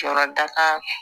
Jɔyɔrɔ da ka